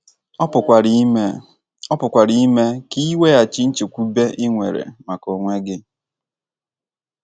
Ọ pụkwara ime Ọ pụkwara ime ka i nweghachi nchekwube i nwere maka onwe gị.